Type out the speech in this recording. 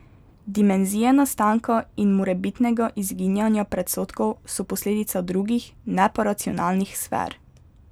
Dimenzije nastanka in morebitnega izginjanja predsodkov so posledica drugih, ne pa racionalnih sfer.